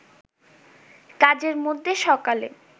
কাজের মধ্যে সকালে